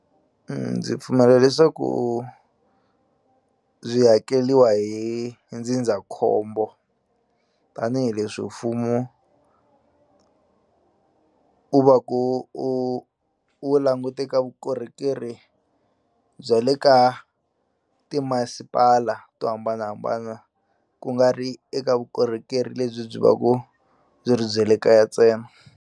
Ndzi pfumela leswaku byi hakeriwa hi ndzindzakhombo tanihileswi mfumo u va ku u wu languteka vukorhokeri bya le ka timasipala to hambanahambana kungari eka vukorhokeri lebyi byi va ku byi ri bye le kaya ntsena.